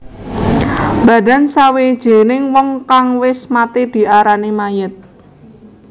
Badan sawijining wong kang wis mati diarani mayit